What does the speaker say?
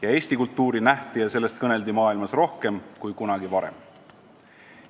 Ja Eesti kultuuri nähti ja sellest kõneldi maailmas rohkem kui kunagi varem.